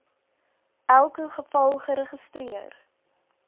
elke geval geregistreer